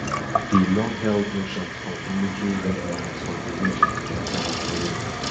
di longheld notions of military red lines for di region don evaporate